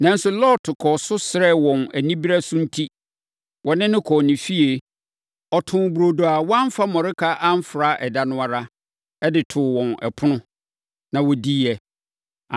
Nanso, Lot kɔɔ so srɛɛ wɔn anibereɛ so enti, wɔne no kɔɔ ne fie. Ɔtoo burodo a wamfa mmɔreka amfra ɛda no ara, de too wɔn ɛpono, ma wɔdiiɛ.